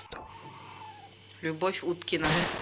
любовь уткина